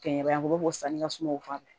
Kɛɲɛba u bɛ bɔ sanji ka sumaw fan fɛ